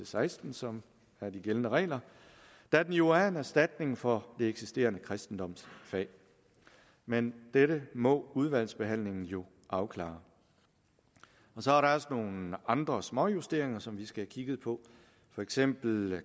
seksten som er de gældende regler da den jo er en erstatning for det eksisterende kristendomsfag men dette må udvalgsbehandlingen jo afklare så er der også nogle andre småjusteringer som vi skal have kigget på for eksempel